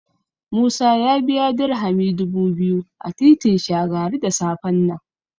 Musa ya biya Dirhami dubu biyu a titin Shagari da safen nan.